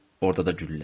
Orda da güllə.